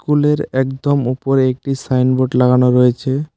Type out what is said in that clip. স্কুলের একদম উপরে একটি সাইনবোর্ড লাগানো রয়েছে।